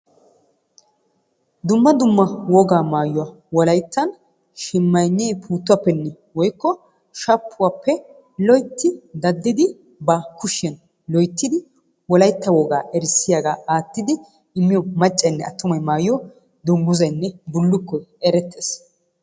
Dumma dumma wogaa maayuwa wolayttan shimmaynnee puuttuwappenne woykko shappuwappe loytti daddidi ba kushiyan loyttidi wolaytta wogaa erissiyagaa aattidi immiyo maccaynne attumay maayiyo dungguzaynne bullukkoy erettees.